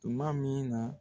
Tuma min na